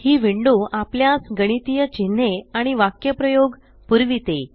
ही window आपल्यास गणितीय चिन्हे आणि वक्यप्रायोग पुरविते